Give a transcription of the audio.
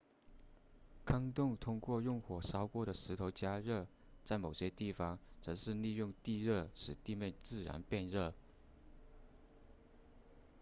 坑洞通过用火烧过的石头加热在某些地方则是利用地热使地面自然变热